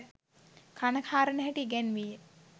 කන හාරන හැටි ඉගැන්වී ය.